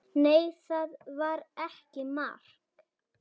Nei, það var ekki mark.